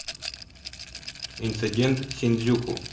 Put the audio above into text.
инцидент синдзюку